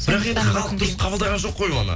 бірақ енді халық дұрыс қабылдаған жоқ қой оны